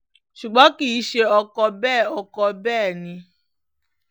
ṣùgbọ́n kì í ṣe ọkọ̀ bẹ́ẹ̀ ọkọ̀ bẹ́ẹ̀ ni